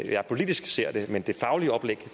jeg politisk ser det men det faglige oplæg